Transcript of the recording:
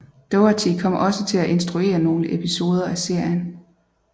Doherty kom også til at instruere nogle episoder af serien